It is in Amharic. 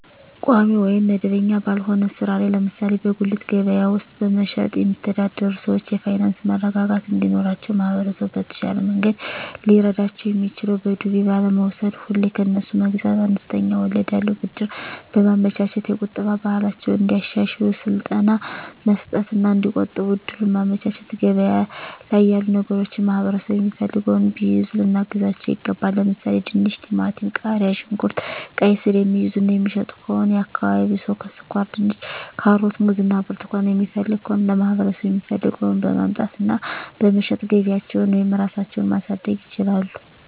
ቋሚ ወይም መደበኛ ባልሆነ ሥራ ላይ ለምሳሌ በጉሊት ገበያ ውስጥ በመሸጥየሚተዳደሩ ሰዎች የፋይናንስ መረጋጋት እንዲኖራቸው ማህበረሰቡ በተሻለ መንገድ ሊረዳቸው የሚችለው በዱቤ ባለመውስድ፤ ሁሌ ከነሱ መግዛት፤ አነስተኛ ወለድ ያለው ብድር በማመቻቸት፤ የቁጠባ ባህላቸውን እንዲያሻሽሉ ስልጠና መስጠት እና እዲቆጥቡ እድሉን ማመቻቸት፤ ገበያ ላይ ያሉ ነገሮችን ማህበረሠቡ የሚፈልገውን ቢይዙ ልናግዛቸው ይገባል። ለምሣሌ፦፤ ድንች፤ ቲማቲም፤ ቃሪያ፣ ሽንኩርት፤ ቃይስር፤ የሚይዙ እና የሚሸጡ ከሆነ የአካባቢው ሠው ስኳርድንች፤ ካሮት፤ ሙዝ እና ብርቱካን የሚፈልግ ከሆነ ለማህበረሰቡ የሚፈልገውን በማምጣት እና በመሸጥ ገቢያቸውን ወይም ራሳቸው ማሣደግ ይችላሉ።